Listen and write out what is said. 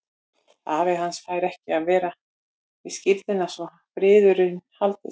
Afi hans fær ekki að vera við skírnina svo að friður haldist.